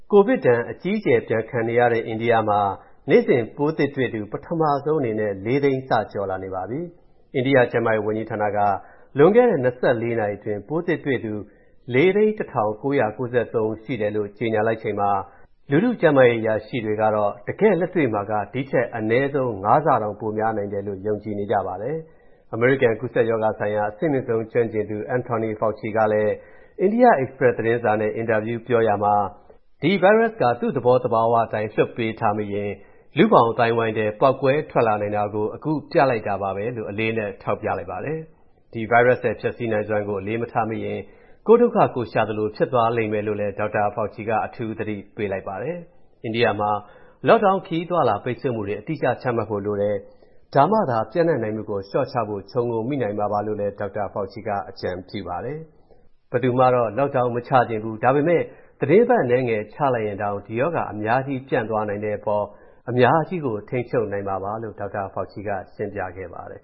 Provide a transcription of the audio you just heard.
ကိုဗစ်ဒဏ် အကြီးအကျယ် ပြန်ခံနေရတဲ့ အိန္ဒိယမှာ နေ့စဉ် ပိုးသစ်တွေ့သူ ပထမဆုံးအနေနဲ့ ၄ သိန်း စကျော်လာနေပါပြီ။ အိန္ဒိယ ကျန်းမာရေးဝန်ကြီးဌာနက လွန်ခဲ့တဲ့ ၂၄ နာရီအတွင်း ပိုးသစ်တွေ့သူ ၄၀၁,၉၉၃ ဦးရှိတယ်လို့ ကြေညာလိုက်ချိန်မှာ ပြည်သူ့ကျန်းမာရေး အရာရှိတွေကတော့ တကယ့်လက်တွေ့မှာက ဒီထက် အနည်းဆုံး ၅ ဆတောင် ပိုများနိုင်တယ်လို့ ယုံကြည်နေပါတယ်။ အမေရိကန် ကူးစက်ရောဂါဆိုင်ရာ အဆင့်မြင့်ဆုံး ကျွမ်းကျင်သူ Anthony Fauci ကလည်း အိန္ဒိယ Express သတင်းစာနဲ့ အင်တာဗျူးပြောရာမှာ ဒီဗိုင်းရပ်စ်က သူ့သဘောသဘာဝအတိုင်း လွှတ်ပေးထားမိရင် လူ့ဘောင်အသိုင်းအဝိုင်းထဲ ပေါက်ကွဲထွက်လာနိုင်တာကို အခုပြလိုက်တာပါပဲလို့ အလေးအနက် ထောက်ပြလိုက်ပါတယ်။ ဒီဗိုင်းရပ်စ်ရဲ့ ဖျက်ဆီးနိုင်စွမ်းကို အလေးမထားမိလိုက်ရင် ကိုယ်ဒုက္ခ ကိုယ်ရှာသလို ဖြစ်သွားလိမ့်မယ်လို့လည်း ဒေါက်တာ Fauci က အထူး သတိပေးလိုက်ပါတယ်။ အိန္ဒိယမှာ Lockdown ခရီးအသွားအလာ ပိတ်ဆို့မှုတွေ အတိအကျ ချမှတ်ဖို့လိုတယ်၊ ဒါမှသာ ပျံ့နှံ့နိုင်မှုကို လျှော့ချဖို့ ခြုံငုံမိနိုင်မှာပါလို့လည်း ဒေါက်တာ Fauci က အကြံပြုပါတယ်။ ဘယ်သူမှတော့ Lockdown မချချင်ဘူး၊ ဒါပေမယ့် သီတင်းပတ်အနည်းငယ် ချလိုက်ရင်တောင်မှ ဒီရောဂါ အများကြီး ပြန့်သွားနိုင်တဲ့အပေါ် အများကြီးကို ထိန်းချုပ်လိုက်နိုင်မှာပါလို့ ဒေါက်တာ Fauci က ရှင်းပြခဲ့ပါတယ်